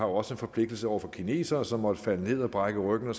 også en forpligtelse over for kinesere som måtte falde ned og brække ryggen og